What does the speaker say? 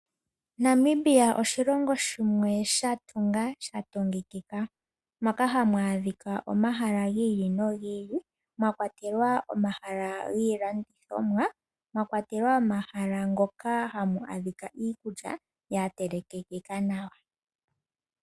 Namibia oshilongo shimwe sha tunga sha tungikika, moka hamu adhika omahala gi ili nogi ili mwa kwatelwa omahala giilanditjomwa, omahala ngoka hamu adhika iikulya ya telekekeka nawa.